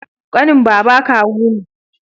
ƙanin baba kawu ne